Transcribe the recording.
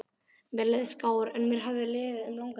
Mér leið skár en mér hafði liðið um langan tíma.